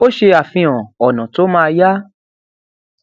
ó ṣe àfihàn ònà tó ma yá